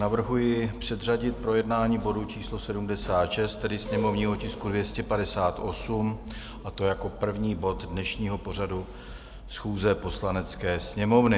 Navrhuji předřadit projednání bodu číslo 76, tedy sněmovního tisku 258, a to jako první bod dnešního pořadu schůze Poslanecké sněmovny.